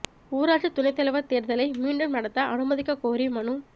ஊராட்சி துணைத் தலைவா் தோ்தலை மீண்டும் நடத்த அனுமதிக் கோரி மனு